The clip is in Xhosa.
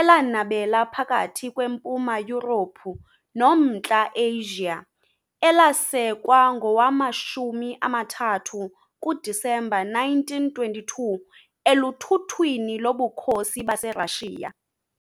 elanabela phakathi kweMpuma Yurophu noMntla Asia, elasekwa ngowama-30 kuDisemba 1922 eluthuthwini loBukhosi baseRashiya .